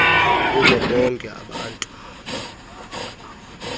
kubo bonke abantu